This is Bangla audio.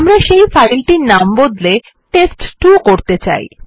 আমরা সেই ফাইলটির নাম বদলে টেস্ট2 করতে চাই